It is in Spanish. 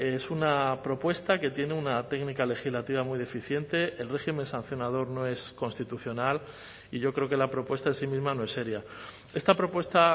es una propuesta que tiene una técnica legislativa muy deficiente el régimen sancionador no es constitucional y yo creo que la propuesta en sí misma no es seria esta propuesta